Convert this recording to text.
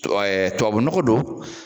Ɛɛ Tubabu nɔgɔ don